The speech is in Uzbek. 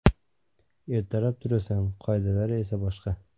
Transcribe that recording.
Ertalab turasan, qoidalar esa boshqa.